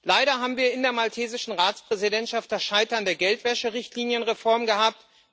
Leider haben wir in der maltesischen Ratspräsidentschaft das Scheitern der Geldwäscherichtlinienreform gehabt.